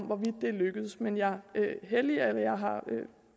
hvorvidt det er lykkedes men jeg har